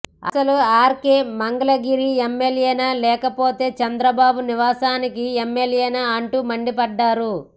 అసలు ఆర్కే మంగళగిరి ఎమ్మెల్యేనా లేకపోతే చంద్రబాబు నివాసానికి ఎమ్మెల్యేనా అంటూ మండిపడ్డారు